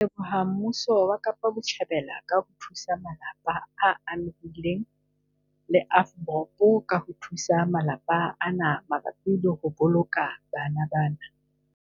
Re leboha mmuso wa Kapa Botjhabela ka ho thusa malapa a amehileng le AVBOB ka ho thusa malapa ana mabapi le ho boloka bana bana.